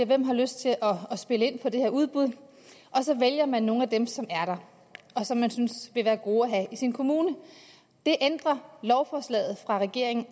hvem har lyst til at spille ind på det her udbud og så vælger man nogle af dem som er der og som man synes vil være gode at have i sin kommune det ændrer lovforslaget fra regeringen